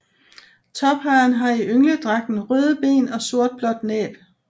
Tophejren har i yngledragten røde ben og sortblåt næb